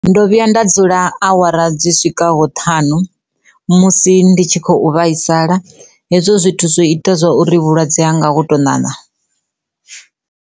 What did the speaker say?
Ndo vhuya nda dzula awara dzi swika ho ṱhanu musi ndi tshi khou vhaisala hezwo zwithu zwo ita zwa uri vhulwadze ha ngaho tou ṋaṋa.